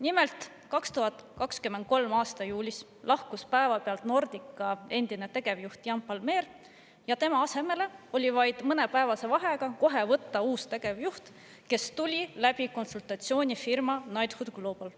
Nimelt, 2023. aasta juulis lahkus päevapealt Nordica endine tegevjuht Jan Palmér ja tema asemele oli vaid mõnepäevase vahega kohe võtta uus tegevjuht, kes tuli konsultatsioonifirma Knighthood Global kaudu.